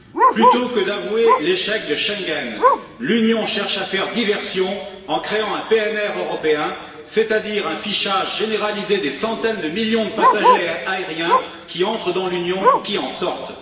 Plutôt que d'avouer l'échec de Schengen, l'Union cherche à faire diversion en créant un PNR européen, c'est à dire un fichage généralisé des centaines de millions de passagers aériens qui entrent dans l'Union ou qui en sortent.